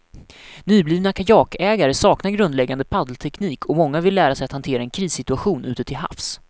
Nyblivna kajakägare saknar grundläggande paddelteknik och många vill lära sig att hantera en krissituation ute till havs.